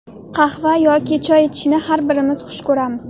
Qahva yoki choy ichishni har birimiz xush ko‘ramiz.